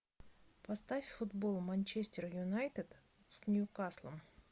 поставь футбол манчестер юнайтед с ньюкаслом